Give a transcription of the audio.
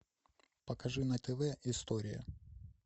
покажи на тв история